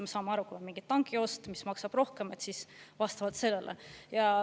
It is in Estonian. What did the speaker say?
Me saame aru, et kui on mingi tanki ost, mis maksab rohkem, siis vastavalt sellele.